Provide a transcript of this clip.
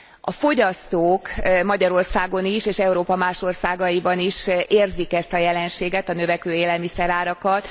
A fogyasztók Magyarországon is és Európa más országaiban is érzik ezt a jelenséget, a növekvő élelmiszerárakat.